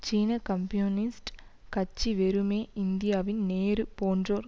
சீன கம்யூனிஸ்ட் கட்சி வெறுமே இந்தியாவின் நேரு போன்றோர்